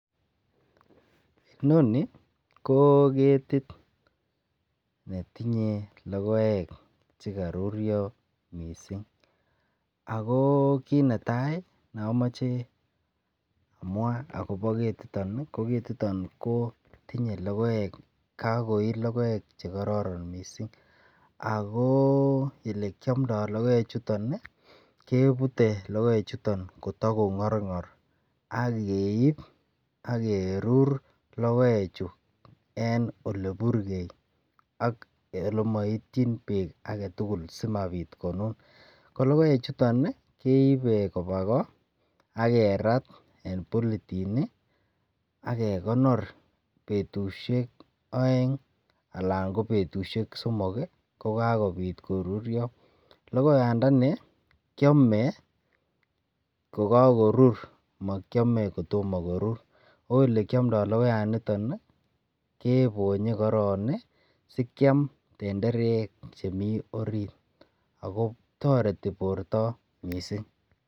Inoni ko ketit netinye logoek che karurio mising ago kit neta neamoche amwa agobo ketitin, ko ketiton ko tinye logoek. Kagoi logoek che kororonen mising ago olekiamndo logoe chuton kebute logoechunoton kotagongorngor ak keip ak kerur logoechu en oleburge olemaityin beek agetugul sigopit konun. Ko logoechuton keibe koba ko ak kerat en polythene ak kegonor betusiek aeng anan ko betusiek somok ko kakopit korurio. Logoandani kiame kokakorur. Makiame kotomo korur, oo olekiamndo logoyaniton kebonye koron ii sikiam tenderek che mi orit ago toreti borto mising.